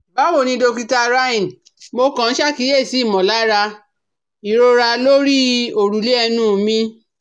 Báwo ni Dókítà Rynne, mo kàn ṣàkíyèsí ìmọ̀lára ìrora lórí òrùlé ẹnu mi